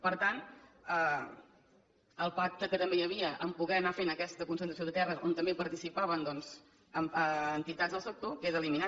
per tant el pacte que també hi havia en el fet de poder anar fent aquesta concentració de terres on també hi participaven doncs entitats del sector queda eliminat